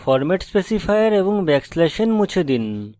format specifier এবং \n মুছে ফেলুন